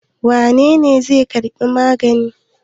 Wane ne zai karbi magani?